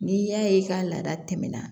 N'i y'a ye i ka laada tɛmɛna